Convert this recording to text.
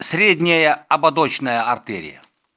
средняя ободочная артерия